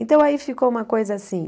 Então, aí ficou uma coisa assim.